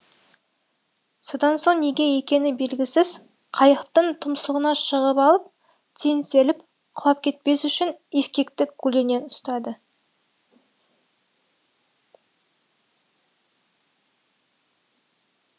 содан соң неге екені белгісіз қайықтың тұмсығына шығып алып теңселіп құлап кетпес үшін ескекті көлденең ұстады